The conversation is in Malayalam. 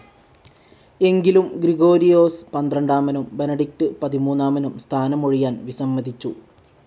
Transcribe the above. എങ്കിലും ഗ്രിഗൊരിയോസ് പന്ത്രണ്ടാമനും ബെനഡിക്ട് പതിമൂന്നാമനും സ്ഥാനമൊഴിയാൻ വിസമ്മതിച്ചു.